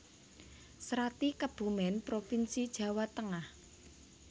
Srati Kebumen provinsi Jawa Tengah